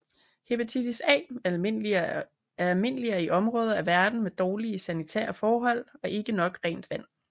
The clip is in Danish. Hepatitis A er almindeligere i områder af verden med dårlige sanitære forhold og ikke nok rent vand